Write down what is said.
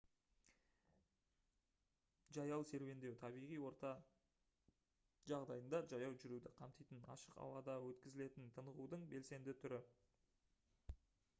жаяу серуендеу табиғи орта жағдайында жаяу жүруді қамтитын ашық ауада өткізілетін тынығудың белсенді түрі